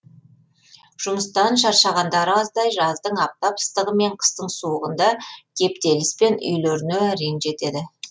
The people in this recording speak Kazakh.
жұмыстан шаршағандары аздай жаздың аптап ыстығы мен қыстың суығында кептеліспен үйлеріне әрең жетеді